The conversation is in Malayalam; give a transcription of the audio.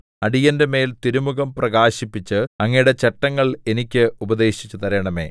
അടിയന്റെമേൽ തിരുമുഖം പ്രകാശിപ്പിച്ച് അങ്ങയുടെ ചട്ടങ്ങൾ എനിക്ക് ഉപദേശിച്ചു തരണമേ